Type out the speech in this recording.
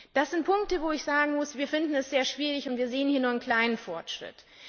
tun? Das sind Punkte, wo ich sagen muss, wir finden es sehr schwierig, und wir sehen nur einen kleinen Fortschritt.